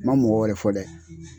N ma mɔgɔ wɛrɛ fɔ dɛ